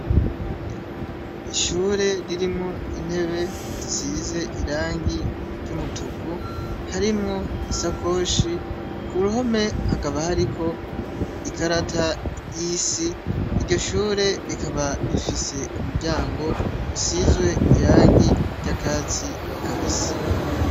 Ishure ririmwo intebe sizie irangi ry'umutuku harimwo isakoshe kuruhome hakaba hariho ikarata y'isi iryo shure rikaba rifise umuryango usize irangi ryakatsi kabisi.